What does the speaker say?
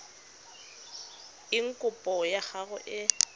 eng kopo ya gago e